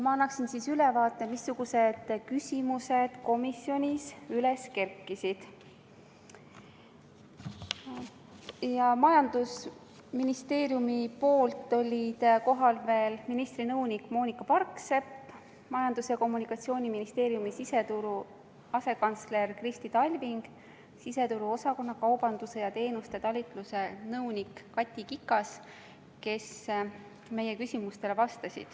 Majandusministeeriumist olid kohal veel ministri nõunik Moonika Parksepp, siseturu asekantsler Kristi Talving ning siseturuosakonna kaubanduse ja teenuste talituse nõunik Kati Kikas, kes meie küsimustele vastasid.